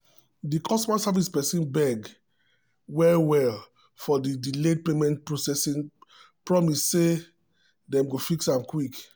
di customer service person beg well-well for di delayed payment processing promise say dem go fix am quick.